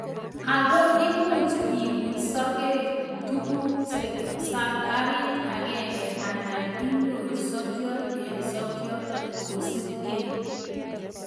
Ago imuche ibut sokek tuguk saparit agenge alan icheru sokyot en sokyot kosipkei.